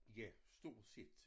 Ja stort set